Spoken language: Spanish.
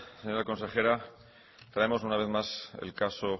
señora consejera traemos una vez más el caso